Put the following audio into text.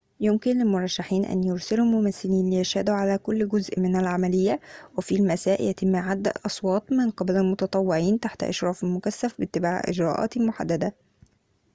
يمكن للمرشحين أن يرسلوا ممثلين ليشهدوا على كل جزء من العملية وفي المساء يتم عد الأصوات من قبل المتطوعين تحت إشراف مكثف باتباع إجراءات محددة